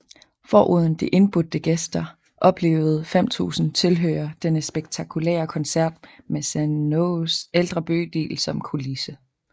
Foruden de indbudte gæster oplevede 5000 tilhører denne spetakulære koncert med Sanaas ældre bydel som kulisse